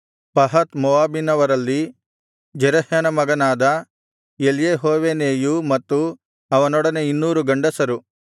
ಪಹತ್ ಮೋವಾಬಿನವರಲ್ಲಿ ಜೆರಹ್ಯನ ಮಗನಾದ ಎಲ್ಯೆಹೋವೇನೈಯೂ ಮತ್ತು ಅವನೊಡನೆ 200 ಗಂಡಸರು